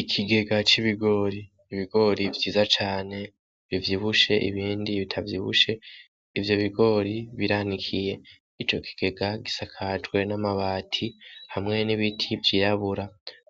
Ikigega c'ibigori vyiza cane bivyibushe ibindi bitavyibushe ivyo bigori biranikiye ico kigega gisakajwe n'amabati hamwe n'ibiti vyirabura